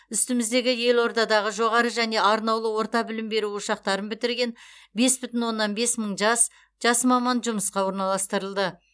үстіміздегі елордадағы жоғарғы және арнаулы орта білім беру ошақтарын бітірген бес бүтін оннан бес мың жас жас маман жұмысқа орналастырылды